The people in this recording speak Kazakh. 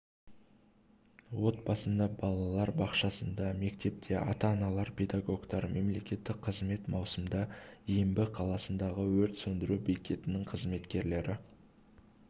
отбасында балалар бақшасында мектепте ата-аналар педагогтар мемлекеттік қызмет маусымда ембі қаласындағы өрт сөндіру бекетінің қызметкерлері